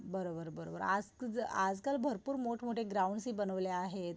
आज आजकाल भरपूर मोठं मोठे ग्राउंड्स हि बनवले आहेत